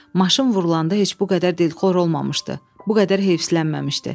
Maşın vurulanda heç bu qədər dilxor olmamışdı, bu qədər heyslənməmişdi.